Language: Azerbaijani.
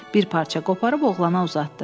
Bir parça qoparıb oğlana uzatdı.